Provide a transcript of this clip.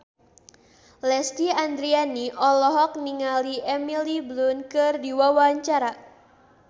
Lesti Andryani olohok ningali Emily Blunt keur diwawancara